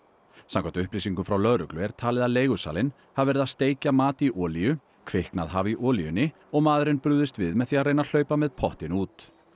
samkvæmt upplýsingum frá lögreglu er talið að leigusalinn hafi verið að steikja mat í olíu kviknað hafi í olíunni og maðurinn brugðist við með því að reyna að hlaupa með pottinn út